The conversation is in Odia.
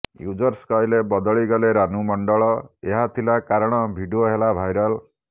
ୟୁଜର୍ସ କହିଲେ ବଦଳି ଗଲେ ରାନୁ ମଣ୍ଡଳ ଏହା ଥିଲା କାରଣ ଭିଡିଓ ହେଲା ଭାଇରାଲ